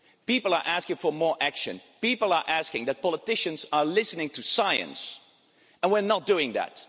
People are asking for more action people are asking for politicians to listen to science, and we're not doing that.